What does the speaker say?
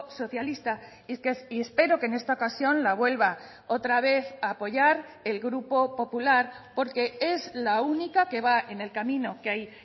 socialista y espero que en esta ocasión la vuelva otra vez a apoyar el grupo popular porque es la única que va en el camino que hay